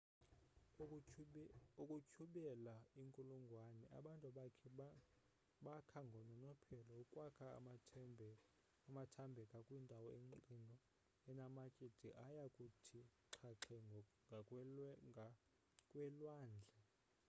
ukutyhubela iinkulungwane abantu bakha ngononophelo ukwakha amathambeka kwindawo emxinwa enamatye de aya kuthi xhaxhe ngakwelwandle